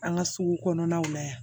An ka sugu kɔnɔnaw la yan